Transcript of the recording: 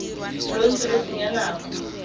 lo ntse lo senya nako